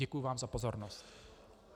Děkuji vám za pozornost.